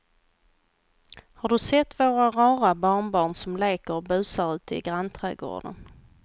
Har du sett våra rara barnbarn som leker och busar ute i grannträdgården!